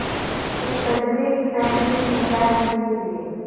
ایک تجربے کی فہرست میں کیا لکھنے کے لئے